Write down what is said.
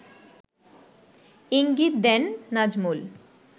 ইঙ্গিত দেন নাজমুল